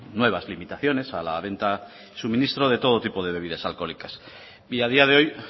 nuevas limitaciones a la venta suministro de todo tipo de bebidas alcohólicas y a día de hoy